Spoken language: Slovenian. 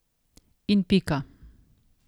In pika.